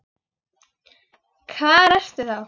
Hvar ertu þá?